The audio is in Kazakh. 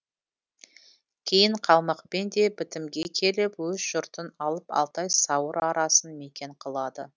кейін қалмақпен де бітімге келіп өз жұртын алып алтай сауыр арасын мекен қылады